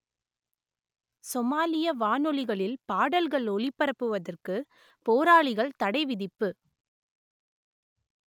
சோமாலிய வானொலிகளில் பாடல்கள் ஒலிபரப்புவதற்கு போராளிகள் தடை விதிப்பு